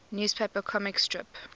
newspaper comic strip